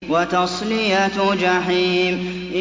وَتَصْلِيَةُ جَحِيمٍ